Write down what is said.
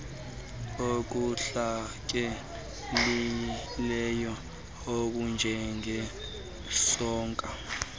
okuntlakekileyo okunje ngesonka